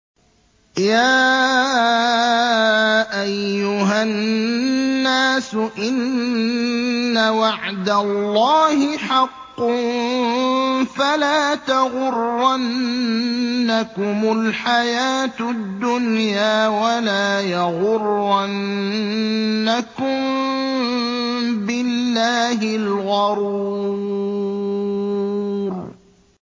يَا أَيُّهَا النَّاسُ إِنَّ وَعْدَ اللَّهِ حَقٌّ ۖ فَلَا تَغُرَّنَّكُمُ الْحَيَاةُ الدُّنْيَا ۖ وَلَا يَغُرَّنَّكُم بِاللَّهِ الْغَرُورُ